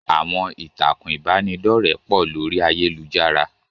Àwọn ìtàkùn ìbánidọ́rẹ́ pọ̀ lórí ayélujára.